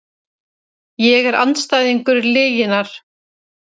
Ég er andstæðingur lyginnar.